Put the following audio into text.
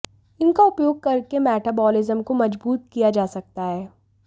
इनका उपयोग करके मेटाबॉलिज्म को मजबूत किया जा सकता है